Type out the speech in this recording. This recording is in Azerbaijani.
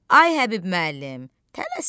Ay, Həbib müəllim, tələsmə!